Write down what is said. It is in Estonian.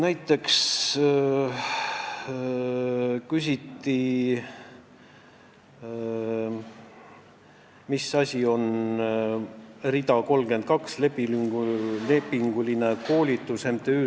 Näiteks küsiti, mida tähendab rida 32 ehk MTÜ Sokratese klubi lepinguline koolitus.